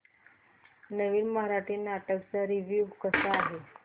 नवीन मराठी नाटक चा रिव्यू कसा आहे